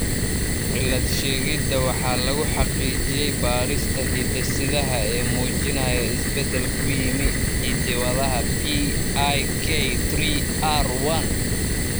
Cilad-sheegidda waxa lagu xaqiijiyay baadhista hidde-sidaha ee muujinaya isbeddel ku yimi hidda-wadaha PIK3R1.